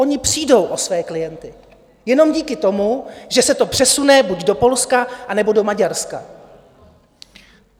Oni přijdou o své klienty jenom díky tomu, že se to přesune buď do Polska nebo do Maďarska.